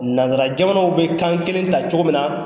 Nansarajamanaw bɛ kan kelen ta cogo min na